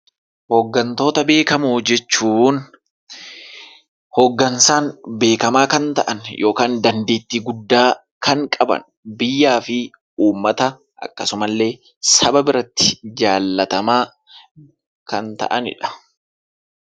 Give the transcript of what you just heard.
Hooggantoota beekamoo jechuun hooggansaan beekamaa kan ta'an yookaan dandeettii Guddaa kan qaban biyyaafii uummata akkasumallee saba biratti jaallatamaa kan ta'aaniidha